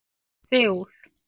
Seúl